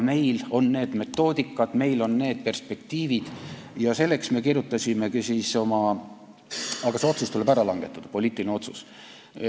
Meil on olemas need metoodikad, meil on perspektiivid, aga see otsus tuleb ära langetada, poliitiline otsus.